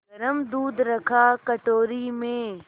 गरम दूध रखा कटोरी में